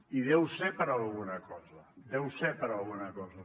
i deu ser per alguna cosa deu ser per alguna cosa